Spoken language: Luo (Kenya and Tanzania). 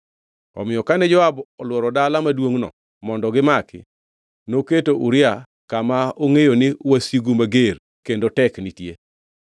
Omiyo kane Joab olworo dala maduongʼno mondo gimaki, noketo Uria kama ongʼeyo ni wasigu mager kendo tek nitie.